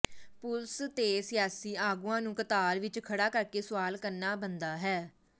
police ਤੇ ਸਿਆਸੀ ਆਗੂਆਂ ਨੂੰ ਕਤਾਰ ਵਿੱਚ ਖੜ੍ਹਾ ਕਰਕੇ ਸੁਆਲ ਕਰਨਾ ਬਣਦਾ ਹੈ